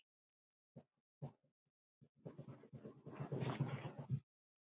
Mun aldrei gleyma þér, Ingi.